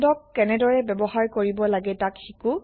160 আহক মেথডক কেনেদৰে ব্যৱহাৰ কৰিব লাগে তাক শিকো